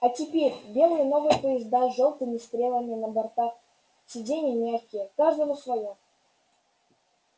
а теперь белые новые поезда с жёлтыми стрелами на бортах сиденья мягкие каждому своё